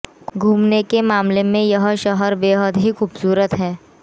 खूमने के मामले में यह शहर बेहद ही खूबसूरत है